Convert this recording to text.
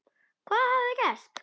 Hvað hafði gerst?